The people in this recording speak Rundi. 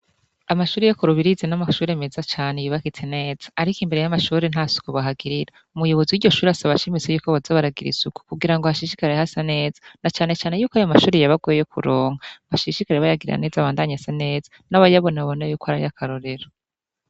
Amashure yo ku Rubirizi n'amashure meza cane yubakitse neza ariko imbere y'amashure nta suku bahagirira, umuyobozi w'iryo shure asaba ashimitse ko boza baragira isuku kugira hashishikare hasa neza na canecane yuko ayo mashure yabagoye kuronka, bashishikare bayagira neza abandanye asa neza n'abayabona babone yuko ari ay'akarorero.